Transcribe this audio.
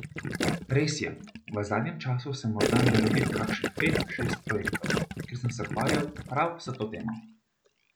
Res je, v zadnjem času sem morda naredil kakšnih pet, šest projektov, kjer sem se ukvarjal prav s to temo.